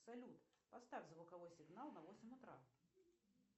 салют поставь звуковой сигнал на восемь утра